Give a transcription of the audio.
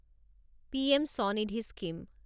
PM Svanidhi scheme